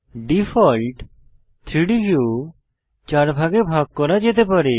default 3ডি view ৪ ভাগে ভাগ করা যেতে পারে